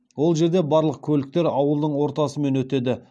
ол жерде барлық көліктер ауылдың ортасымен өтеді